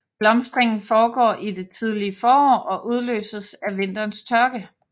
Blomstringen foregår i det tidlige forår og udløses af vinterens tørke